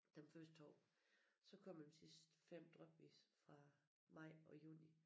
Dem første 2 så kommer dem sidste 5 drypvis fra maj og juni